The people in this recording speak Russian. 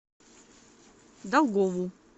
долгову